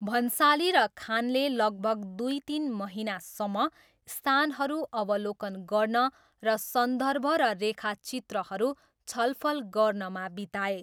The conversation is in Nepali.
भन्साली र खानले लगभग दुई तिन महिनासम्म स्थानहरू अवलोकन गर्न र सन्दर्भ र रेखाचित्रहरू छलफल गर्नमा बिताए।